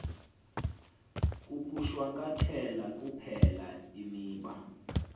kukushwankathela kuphela imiba